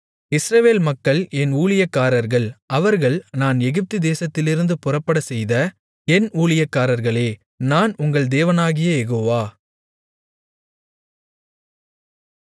இஸ்ரவேல் மக்கள் என் ஊழியக்காரர்கள் அவர்கள் நான் எகிப்துதேசத்திலிருந்து புறப்படச்செய்த என் ஊழியக்காரர்களே நான் உங்கள் தேவனாகிய யெகோவா